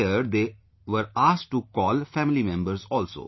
There they were asked to call family members also